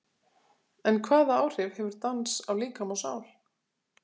En hvaða áhrif hefur dans á líkama og sál?